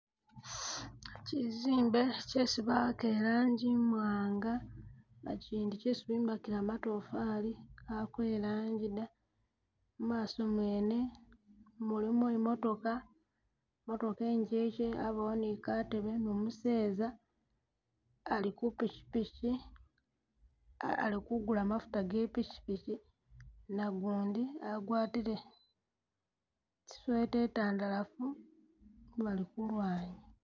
Kyizimbe kyesi bawaka iranji imwanga na kyindi kyesi bombekela matofali kako eranji dda ,imaaso mwene mulimo imotooka motooka ingeke abawo ni katebe ni umuseza ali ku pikyipikyi ah alikugula mafuta ge pikyipikyi nagundi agwatile i'sweater itandalafu bali kulwanyi